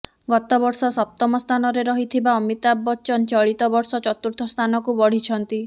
ଗତବର୍ଷ ସପ୍ତମ ସ୍ଥାନରେ ରହିଥିବା ଅମିତାଭ ବଚ୍ଚନ ଚଳିତ ବର୍ଷ ଚତୁର୍ଥ ସ୍ଥାନକୁ ବଢ଼ିଛନ୍ତି